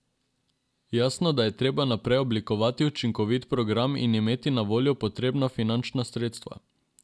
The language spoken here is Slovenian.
Jasno, da je treba najprej oblikovati učinkovit program in imeti na voljo potrebna finančna sredstva.